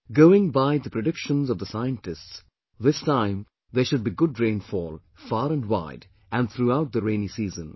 Going by the predictions of the scientists, this time there should be good rainfall, far and wide and throughout the rainy season